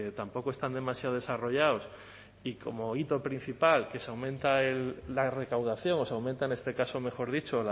tampoco están demasiado desarrollados y como hito principal que se aumenta la recaudación o se aumenta en este caso mejor dicho